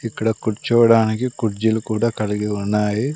ఇక్కడ కూర్చోవడానికి కుర్చీలు కూడా కలిగి ఉన్నాయి.